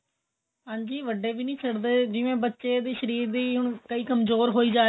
ਹਾਂਜੀ ਵੱਡੇ ਵੀ ਨਹੀਂ ਛੱਡਦੇ ਜਿਵੇਂ ਬੱਚੇ ਦੀ ਸ਼ਰੀਰ ਦੀ ਹੁਣ ਕਈ ਕਮਜੋਰ ਹੋਈ ਜਾ ਰਹੇ ਨੇ